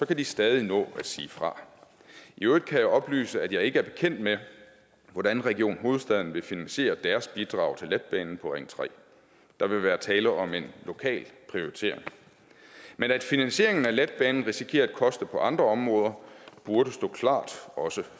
kan de stadig nå at sige fra i øvrigt kan jeg oplyse at jeg ikke er bekendt med hvordan region hovedstaden vil finansiere deres bidrag til letbanen på ring tredje der vil være tale om en lokal prioritering men at finansieringen af letbanen risikerer at koste på andre områder burde stå klart også